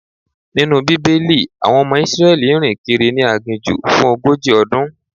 Nínú Bíbélì, àwọn ọmọ Israeli rìn kiri ni aginjù fún ogójì ọdún.